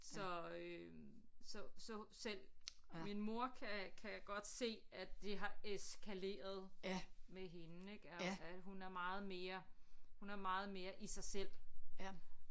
Så øh så så selv min mor kan kan godt se at det har eskaleret med hende ik og at hun er meget mere hun er meget mere i sig selv